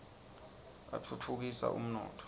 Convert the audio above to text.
atfutfu kisa umnotfo